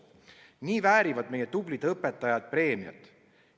Nii väärivad meie tublid õpetajad preemiat.